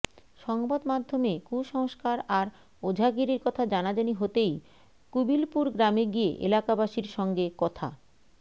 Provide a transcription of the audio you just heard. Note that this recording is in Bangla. সংবাদমাধ্যমে কুসংস্কার আর ওঝাগিরির কথা জানাজানি হতেই কুবিলপুর গ্রামে গিয়ে এলাকাবাসীর সঙ্গে কথা